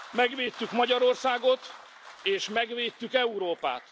Megvédtük Magyarországot, és megvédtük Európát.